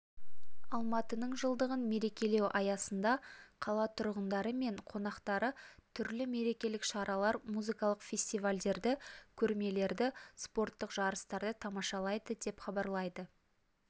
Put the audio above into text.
алматының жылдығын мерекелеу аясында қала тұрғындары мен қонақтары түрлі мерекелік шаралар музыкалық фестивальдерді көрмелерді спорттық жарыстарды тамашалайды деп хабарлайды